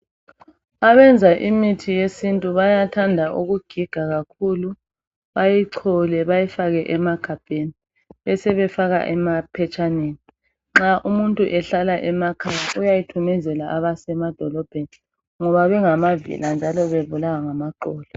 abenza imithi yesintu bayathanda ukugiga kakhulu bayichole bayifake emagabheni besebefaka maphetshaneni nxa umuntu ehlala emakhaya uyayithumezela abasemadolobheni ngoba bengamavila njalo bebulawa